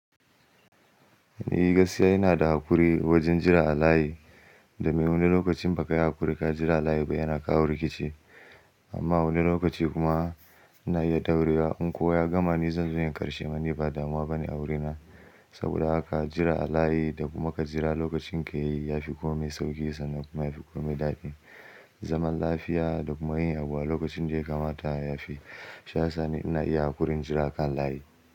Ni gaskiya ina da haƙuri wajen jira a layi da mai wani lokacin ba ka yi haƙuri ka jira a layi ba yana kawo rikici amma wani lokaci kuma ana iya ɗaurewa in kowa ya gama ni zan je in yi karshe ni ba damuwa ba ne a wuri na saboda haka jira a layi da kuma ka jira lokacin ka yayi yafi komai sauƙi sannan kuma yafi komai daɗi. Zaman lafiya da kuma yin abu a lokacin da ya kamata yafi. Sha Sani ina iya haƙurin jira kan layi.